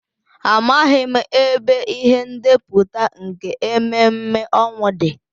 Amaghị m ebe ihe ndepụta nke ememme ọnwụ dị.